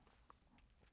DR2